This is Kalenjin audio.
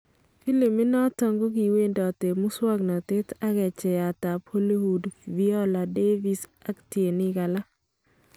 Philimit noton kokiwendot eng musoknotet ak kecheyat ab Hollywood Viola Davis ak tienik alak .